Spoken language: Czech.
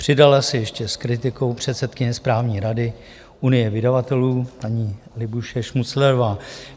Přidala se ještě s kritikou předsedkyně správní rady Unie vydavatelů paní Libuše Šmuclerová.